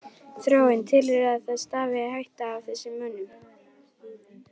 Þráinn: Telurðu að þér stafi hætta af þessum mönnum?